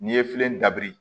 N'i ye filen dabiri